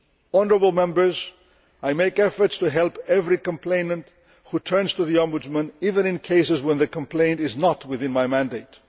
Honourable Members, I make efforts to help every complainant who turns to the Ombudsman, even in cases where the complaint is not within my mandate.